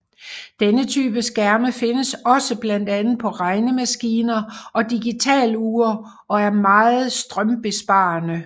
Denne type skærme findes på blandt andet på regnemaskiner og digitalure og er meget strømbesparende